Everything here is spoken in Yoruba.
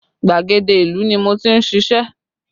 Gbàgede ìlú ni mo ti ń ṣíṣe